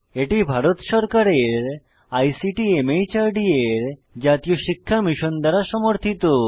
এটি ভারত সরকারের আইসিটি মাহর্দ এর জাতীয় শিক্ষা মিশন দ্বারা সমর্থিত